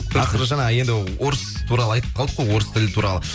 ақыры жаңа енді орыс туралы айтып қалдық қой орыс тілі туралы